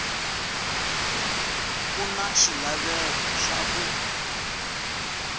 ku na xilaveko xa ku